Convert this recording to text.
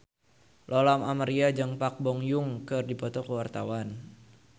Lola Amaria jeung Park Bo Yung keur dipoto ku wartawan